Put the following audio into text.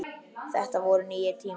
Þetta voru nýir tímar.